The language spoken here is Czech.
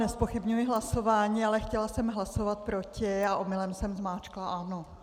Nezpochybňuji hlasování, ale chtěla jsem hlasovat proti a omylem jsem zmáčkla ano.